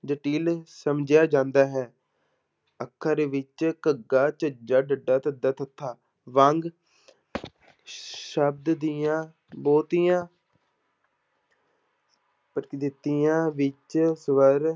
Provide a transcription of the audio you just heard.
ਸਮਝਿਆ ਜਾਂਦਾ ਹੈ ਅੱਖਰ ਵਿੱਚ ਘੱਗਾ, ਝੱਝਾ, ਡੱਡਾ, ਧੱਦਾ ਵਾਂਗ ਸ਼ਬਦ ਦੀਆਂ ਬਹੁਤੀਆਂ ਪ੍ਰਕਿਰਤੀਆਂ ਵਿੱਚ ਸਵਰ